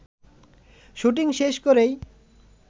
shooting শেষ করেই